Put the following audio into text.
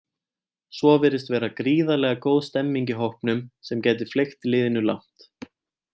Svo virðist vera gríðarlega góð stemmning í hópnum sem gæti fleygt liðinu langt.